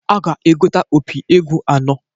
A ga-egota opi egwu anọọ.